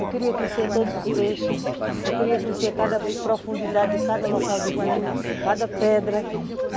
Eu queria conhecer todos os peixes, eu queria conhecer cada profundidade de cada local do rio, cada pedra.